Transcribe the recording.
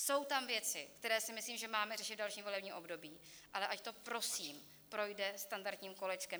Jsou tam věci, které si myslím, že máme řešit v dalším volebním období, ale ať to prosím projde standardním kolečkem.